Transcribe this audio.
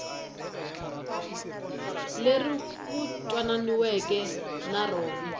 leri ku twananiweke na rona